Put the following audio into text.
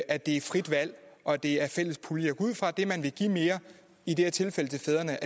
at det er et frit valg og at det er en fælles pulje jeg går ud fra at det man vil give mere i det her tilfælde til fædrene